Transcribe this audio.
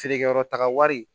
Feerekɛyɔrɔ taga wari